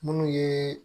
Minnu ye